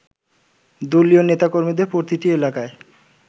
দলীয় নেতাকর্মীদের প্রতিটি এলাকায়